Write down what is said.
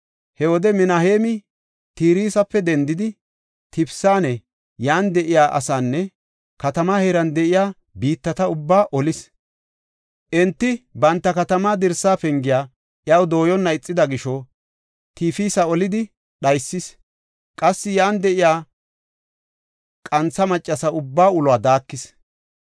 He wode Minaheemi Tirsafe dendidi, Tifisanne, yan de7iya asaanne katamaa heeran de7iya biittata ubbaa olis. Enti banta katamaa dirsa pengiya iyaw dooyonna ixida gisho, Tifisa olidi dhaysis; qassi yan de7iya qantha maccasa ubbaa uluwa daakis.